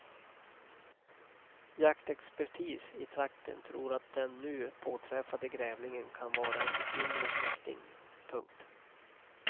Jaktexpertis i trakten tror att den nu påträffade grävlingen kan vara en yngre släkting. punkt